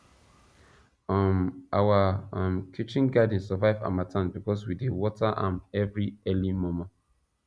um our um kitchen garden survive harmattan because we dey water am every early mor mor